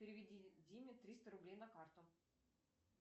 переведи диме триста рублей на карту